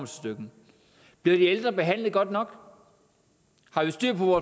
stykket bliver de ældre behandlet godt nok har vi styr på